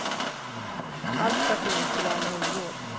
Allt för att ingen skulle ana oråd.